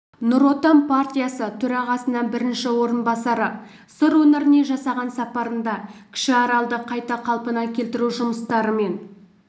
нұр отан партиясы төрағасының бірінші орынбасары сыр өңіріне жасаған сапарында кіші аралды қайта қалпына келтіру жұмыстарымен